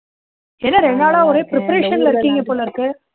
என்ன ரெண்டு நாளா ஒரே preparation ல இருக்கீங்க போல இருக்கு